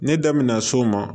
Ne da mɛna so ma